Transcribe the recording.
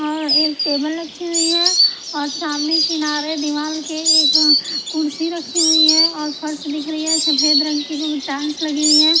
और एक टेबल रखी हुई है और सामने किनारे दीवार के एक कुर्सी रखी हुई है और फर्श दिख रही है सफेद रंग की जो कि टेंस लगी हुई है।